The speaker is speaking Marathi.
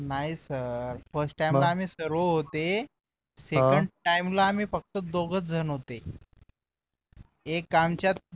नाही सर first time ला आम्ही सर्व होते second time ला आम्ही फक्त दोघंच जण होते एक आमच्यात